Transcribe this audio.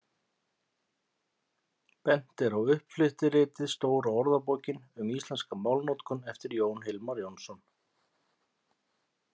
Bent er á uppflettiritið Stóra orðabókin um íslenska málnotkun eftir Jón Hilmar Jónsson.